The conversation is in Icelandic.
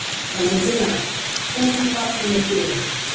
Valentína, hvenær kemur vagn númer þrjú?